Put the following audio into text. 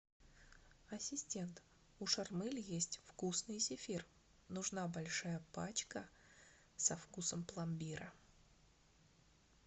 ассистент у шармель есть вкусный зефир нужна большая пачка со вкусом пломбира